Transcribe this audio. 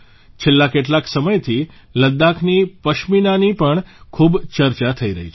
છેલ્લા કેટલાક સમયથી લદ્દાખી પશ્મિનાની પણ ખૂબ ચર્ચા થઇ રહી છે